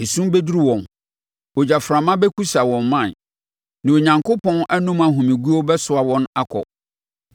Esum bɛduru wɔn; ogyaframa bɛkusa wɔn mman, na Onyankopɔn anom ahomeguo bɛsoa wɔn akɔ.